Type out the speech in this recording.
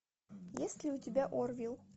есть ли у тебя орвилл